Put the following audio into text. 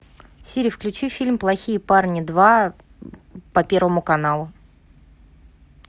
сири включи фильм плохие парни два по первому каналу